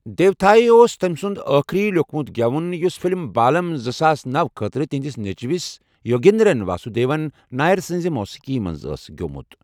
دیوتھائی' اوس تٔمۍ سُنٛد آخری لیٚکھمُت گٮ۪وُن یُس فلم بالم زٕ ساس نوَ خٲطرٕ تہنٛدِس نچوِس یوگیندرن واسودیون نائر سنٛز موسیٖقی منٛزأسی گیومُتھ ۔